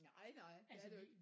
Nej nej det er der jo ikke